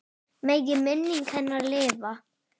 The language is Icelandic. Megi minning hennar lifa.